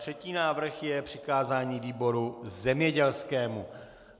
Třetí návrh je přikázání výboru zemědělskému.